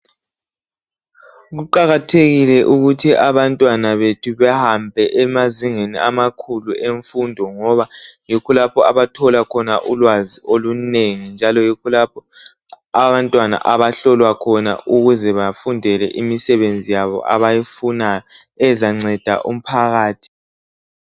Kuqakathekile ukuthi abantwana bethu behambe emazingeni amakhulu emfundo ngoba yikho lapho abathola khona ulwazi olunengi njalo yikho lapho abantwana abahlolwa khona ukuze bafundele imisebenzi yabo abayifunayo ezanceda umphakathi